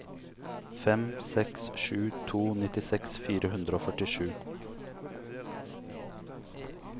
fem seks sju to nittiseks fire hundre og førtisju